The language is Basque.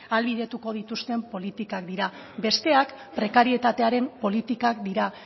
ahalbidetu dituzten politikak dira besteak prekarietatearen politikak dira